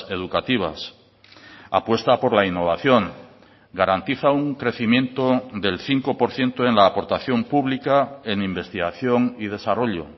educativas apuesta por la innovación garantiza un crecimiento del cinco por ciento en la aportación pública en investigación y desarrollo